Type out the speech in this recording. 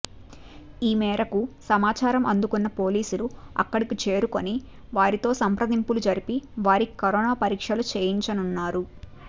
ఈ మేరకు సమాచారం అందుకున్న పోలీసులు అక్కడికి చేరుకొని వారితో సంప్రదింపులు జరిపి వారికి కరోనా పరీక్షలు చేయించనున్నారు